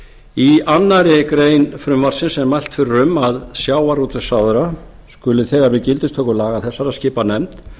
í annarri grein frumvarpsins er mælt fyrir um að sjávarútvegsráðherra skuli þegar við gildistöku laga þessara skipa nefnd